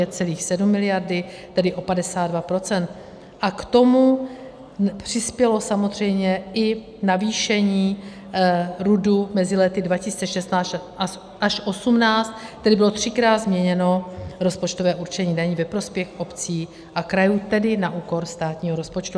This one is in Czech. A k tomu přispělo samozřejmě i navýšení RUD mezi lety 2016 až 2018, tedy bylo třikrát změněno rozpočtové určení daní ve prospěch obcí a krajů, tedy na úkor státního rozpočtu.